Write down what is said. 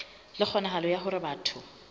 le kgonahalo ya hore batho